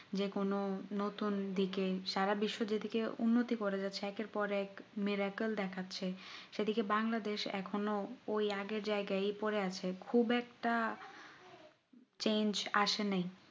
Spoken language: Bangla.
যে কোনো নতুন দিকে সারা বিশ্ব যেদিকে উন্নতি করে যাচ্ছে একের পর এক মিরাক্কেল দেখাচ্ছে সেইদিকে বাংলাদেশ এখনো ওই আগের জায়গায় ই পরে আছে খুব একটা change আসে নাই